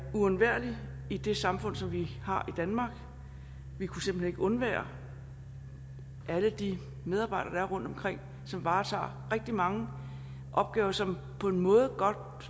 uundværlige i det samfund som vi har i danmark vi kunne simpelt hen ikke undvære alle de medarbejdere der er rundtomkring som varetager rigtig mange opgaver og som på en måde godt